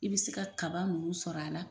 I bi se ka kaba nunnu sɔrɔ a la